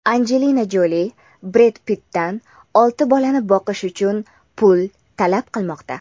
Anjelina Joli Bred Pittdan olti bolani boqish uchun pul talab qilmoqda.